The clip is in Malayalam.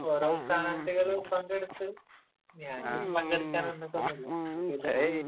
ഓരോ സ്ഥാനാര്ഥികള് പങ്കെടുത്ത്...ഞാൻ പിന്നെ പങ്കെടുക്കാൻ നിന്നിട്ടൊന്നുമില്ല.എനിക്ക് താല്പര്യം ഇല്ല അതില്